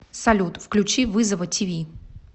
салют включи вызова ти ви